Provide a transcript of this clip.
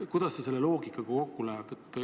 Kuidas see selle loogikaga kokku läheb?